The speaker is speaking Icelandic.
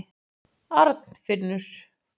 Arnfinnur